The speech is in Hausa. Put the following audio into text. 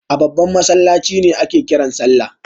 A babban masallaci ne ake kiran salla?